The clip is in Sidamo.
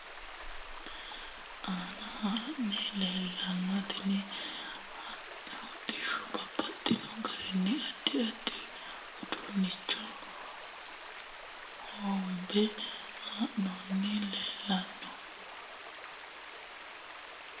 Tenne basera leeltanno addi addi hodhishuwa doogote aanna hadhanni leeltanno tini hodhishuwa babbaxino garinni addi addi uduunicho hogobbe hadhanni leeltanno